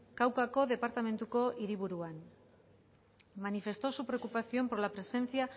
caucako departamentuko hiriburuan manifestó su preocupación por la presencia